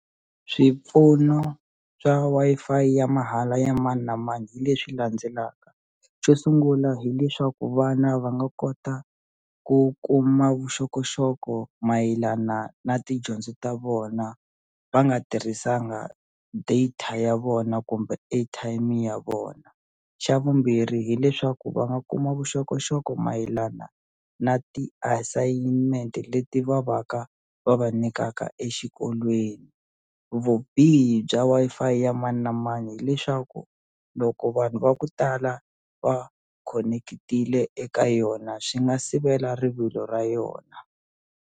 Swipfuno swa Wi-Fi ya mahala ya mani na mani hi leswi landzelaka xo sungula hileswaku vana va nga kota ku kuma vuxokoxoko mayelana na tidyondzo ta vona va nga tirhisanga data ya vona kumbe airtime ya vona xa vumbirhi hileswaku va nga kuma vuxokoxoko mayelana na ti-assignment-e leti va va ka va va nyikaka exikolweni vubihi bya Wi-Fi ya mani na mani hileswaku loko vanhu va ku tala va khonekitile eka yona swi nga sivela rivilo ra yona.